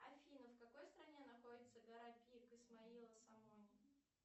афина в какой стране находится гора пик исмоила сомони